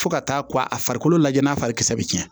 Fo ka taa a farikolo lajɛ n'a fari kisɛ bɛ cɛn